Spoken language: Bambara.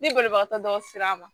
Ni banabagatɔ dɔw sera a ma